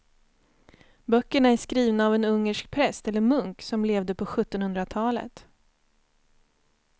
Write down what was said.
Böckerna är skrivna av en ungersk präst eller munk som levde på sjuttonhundratalet.